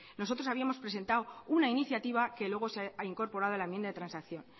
nosotros habíamos presentado una iniciativa que luego se ha incorporado a la enmienda de transacción